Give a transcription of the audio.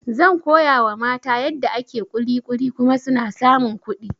Zan koyawa mata yadda ake kulikuli kuma suna samun kuɗi